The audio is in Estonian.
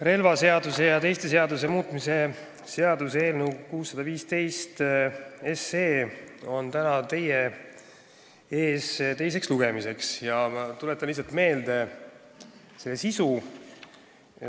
Relvaseaduse ja teiste seaduste muutmise seaduse eelnõu on täna teie ees teisel lugemisel ja ma tuletan teile meelde selle sisu.